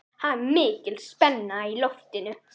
Það er mikil spenna í loftinu.